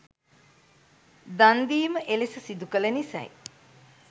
දන්දීම එලෙස සිදුකළ නිසයි.